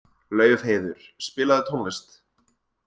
Laufheiður, spilaðu tónlist.